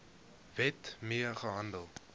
wet mee gehandel